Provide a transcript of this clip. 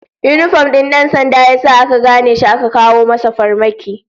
Yinifom din dan sandan ya sa aka gane shi aka kawo masa farmaki